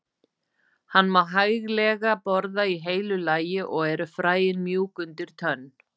Hann má hæglega borða í heilu lagi og eru fræin mjúk undir tönn.